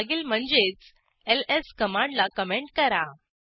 मागील म्हणजेच एलएस कमांडला कमेंट करा